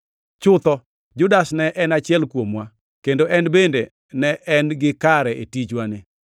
Chutho, Judas ne en achiel kuomwa, kendo en bende ne en-gi kare e tichwani.”